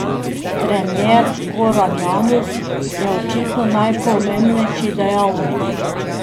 Trener Goran Janus je očitno najpomembnejši dejavnik.